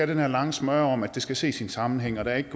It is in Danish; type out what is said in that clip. den her lange smøre om at det skal ses i en sammenhæng og at der ikke